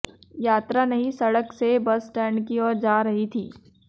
यात्रा नई सडक से बस स्टैंड की आेर जा रही थी